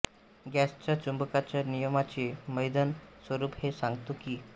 गॉसच्या चुंबकाच्या नियमाचे भैदन स्वरूप हे सांगतो की